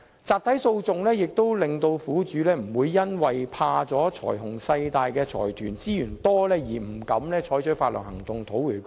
集體訴訟也可令苦主不會因為害怕財雄勢大的財團有豐富資源，而不敢採取法律行動討回公道。